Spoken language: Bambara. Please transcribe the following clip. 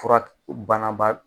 Fura banaba